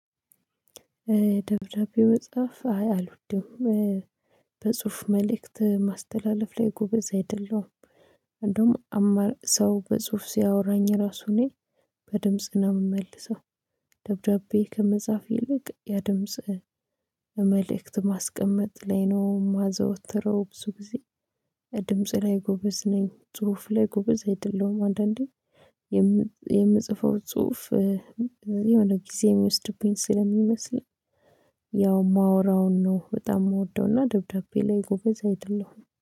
ደብዳቤ መጽሐፍ አይ አልወድም። በጽሁፍ መልእክት ማስተላለፍ ላይ ጎበዝ አይደለሁም። እንደዉም አማር ሰው በጽሁፍ ሲያወራኝ ራሱን በድምጽ ግን የምመልሰው። ደብዳቤ ከመጻፍ ይልቅ ያ ድምጽ መልእክት ማስቀመጥ ላይ ነው የማዘወትረው ብዙ ጊዜ። ድምጽ ላይ ጎበዝ ነኝ ጽሁፍ ላይ ጎበዝ አይደለሁም። አንዳንዴ የምጽፈው ጽሁፍ የሆነ ጊዜ የሚወስድብኝ ስለሚመስለኝ። ያው ማውራውን ነው በጣም የምወደውና ደብዳቤ ላይ ጎበዝ አይደለሁም